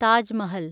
Taj Mahal